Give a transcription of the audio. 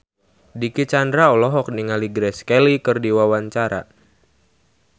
Dicky Chandra olohok ningali Grace Kelly keur diwawancara